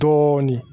Dɔɔnin